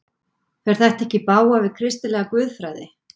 Fer þetta ekki í bága við kristilega guðfræði?